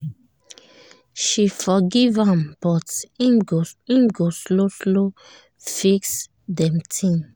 she forgive am but him go slow slow fix dem ting